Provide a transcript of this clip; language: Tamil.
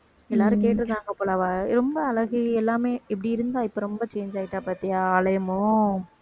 எல்லாரும் கேட்டிருக்காங்க போல அவ அழ~ ரொம்ப அழகு எல்லாமே எப்படி இருந்தா இப்ப ரொம்ப change ஆயிட்டா பாத்தியா ஆளே மு~